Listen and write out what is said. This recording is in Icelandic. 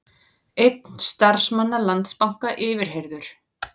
Einn starfsmanna Landsbanka yfirheyrður